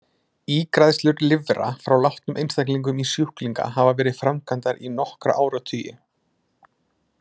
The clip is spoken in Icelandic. Ígræðslur lifra frá látnum einstaklingum í sjúklinga hafa verið framkvæmdar í nokkra áratugi.